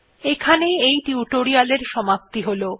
এখানেই এই টিউটোরিয়াল্ এর সমাপ্তি হল